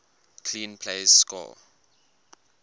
clean plays score